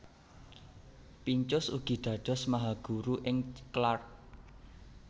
Pincus ugi dados mahaguru ing Clark